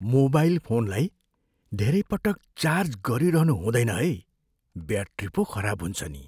Mobile फोनलाई धेरै पटक चार्ज गरिरहनु हुँदैन है। ब्याट्री पो खराब हुन्छ नि!